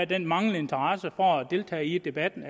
den manglende interesse for at deltage i debatten